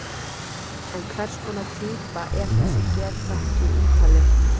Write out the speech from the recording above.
En hvers konar týpa er þessi geðþekki Ítali?